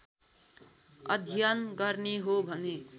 अध्ययन गर्ने हो भने